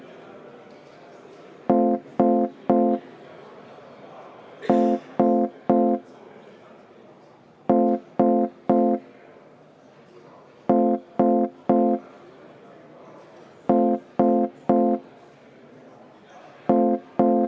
V a h e a e g